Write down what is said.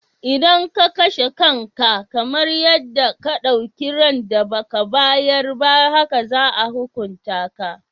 Idan ka kashe kanka, kamar yadda ka ɗauki ran da ba ka bayar ba haka za a hukunta ka.